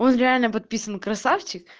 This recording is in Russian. он реально подписан красавчик